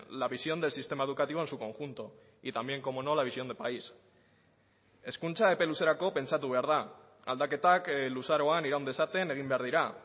la visión del sistema educativo en su conjunto y también cómo no la visión de país hezkuntza epe luzerako pentsatu behar da aldaketak luzaroan iraun dezaten egin behar dira